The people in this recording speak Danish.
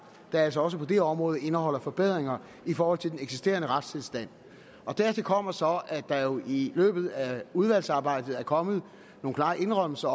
der altså også på det område indeholder forbedringer i forhold til den eksisterende retstilstand dertil kommer så at der jo i løbet af udvalgsarbejdet er kommet nogle klare indrømmelser